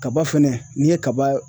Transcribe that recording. Kaba fɛnɛ n'i ye kaba